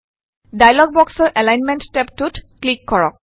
dialog বক্সৰ alignment টেবটোত click কৰক